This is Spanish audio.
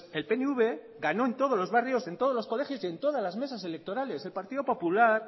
el pnv ganó en todos los barrios en todos los colegios y en todas las mesas electorales el partido popular